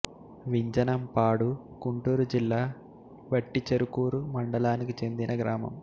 వింజనం పాడు గుంటూరు జిల్లా వట్టిచెరుకూరు మండలానికి చెందిన గ్రామం